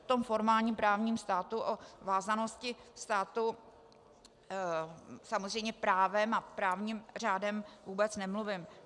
O tom formálním právním státu, o vázanosti státu samozřejmě právem a právním řádem vůbec nemluvím.